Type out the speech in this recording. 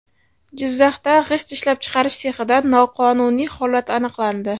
Jizzaxda g‘isht ishlab chiqarish sexida noqonuniy holat aniqlandi.